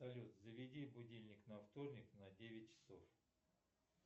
салют заведи будильник на вторник на девять часов